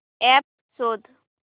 app शोध